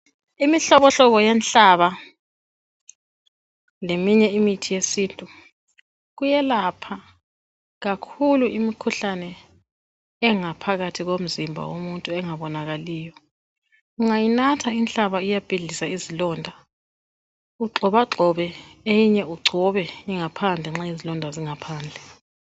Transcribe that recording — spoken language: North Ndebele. imihlobohlobo yenhlaba leminye imithi yesintu kuyelapha kakhulu imikhuhlane engaphakathi komzimba womuntu engabonakaliyo ungayinatha inhlaba iyabhidliza izilonda ugxobagxobe eyinye ugcobe ngaphandle nxa izilonda zingaphandle